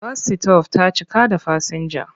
Bas -sitof ta cika da fasinja.